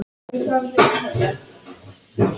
Var í áttunda bekk.